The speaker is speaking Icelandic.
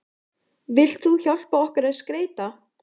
Vilt þú hjálpa okkur að skreyta?